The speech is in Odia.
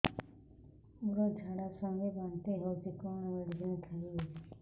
ମୋର ଝାଡା ସଂଗେ ବାନ୍ତି ହଉଚି କଣ ମେଡିସିନ ଖାଇବି